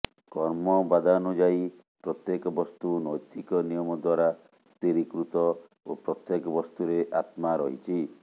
କର୍ମବାଦାନୁଯାୟୀ ପ୍ରତ୍ୟେକ ବସ୍ତୁ ନୈତିକ ନିୟମ ଦ୍ୱାରା ସ୍ଥିରୀକୃତ ଓ ପ୍ରତ୍ୟେକ ବସ୍ତୁରେ ଆତ୍ମା ରହିଛି